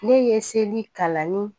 Ne ye seli kalanni